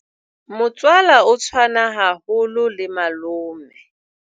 Motswala o tshwana haholo le malome.